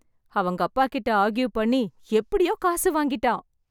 அவங்க அப்பா கிட்ட ஆர்கியூ பண்ணி எப்படியோ காசு வாங்கிட்டான்.